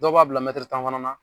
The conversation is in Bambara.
Dɔw b'a bila tan fana na.